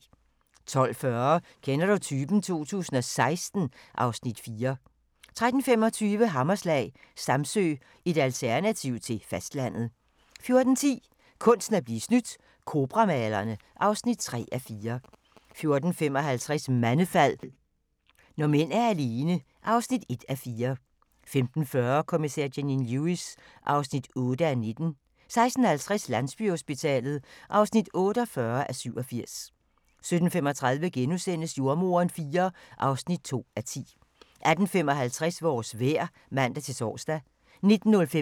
12:40: Kender du typen? 2016 (Afs. 4) 13:25: Hammerslag – Samsø, et alternativ til fastlandet 14:10: Kunsten at blive snydt – Cobra-malerne (3:4) 14:55: Mandefald – når mænd er alene (1:4) 15:40: Kommissær Janine Lewis (8:19) 16:50: Landsbyhospitalet (48:87) 17:35: Jordemoderen IV (2:10)* 18:55: Vores vejr (man-tor)